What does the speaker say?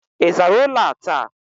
Ị zara ụlọ a taa?